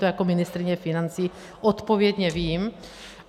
To jako ministryně financí odpovědně vím.